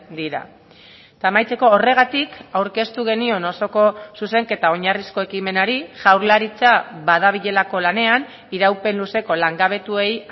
dira eta amaitzeko horregatik aurkeztu genion osoko zuzenketa oinarrizko ekimenari jaurlaritza badabilelako lanean iraupen luzeko langabetuei